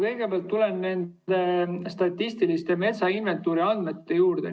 Kõigepealt tulen nende statistilise metsainventuuri andmete juurde.